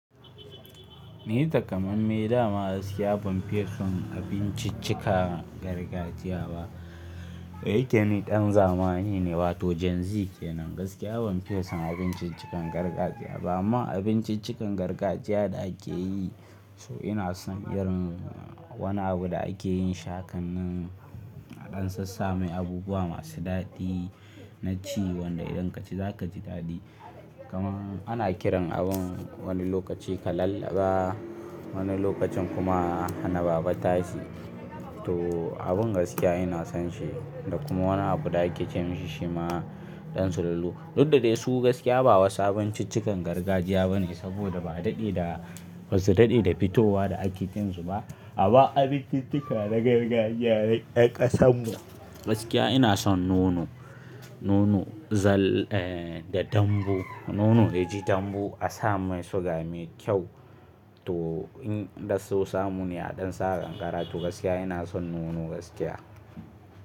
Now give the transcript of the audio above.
Ni takamaimma da ma gaskiya ban fi son abinciccikan gargajiya ba. Dayake ni ɗan zamani ne wato Gen Z kenan. Gaskiya ban fiya son abinciccikan gargajiya ba. Man abinciccikan gargajiya da ake yi, to ina son irin wani abu da ake yin shi hakannan, a ɗan sassamai abubuwa masu daɗi na ci wanda idan ka ci za ka ji daɗi. Kaman ana kiran abun wani lokaci kalallaba, wani lokacin kuma hana baba tashi. To abun gaskiya ina son shi da kuma wani abu da ake ce mashi shima ɗan sululu. Duk da dai su gaskiya ba wasu abinciccikan gargajiya ba ne saboda ba adaɗe da ba su daɗe da fitowa da ake yin su ba. Amma abincikka na gargajiya na ɗan ƙasan mu. Gaskiya ina son nono, nono da dambu. Nono da ji dambu a sa mai suga mai kyau. To in daso samune a ɗan sa ƙanƙara to gaskiya ina son nono gaskiya.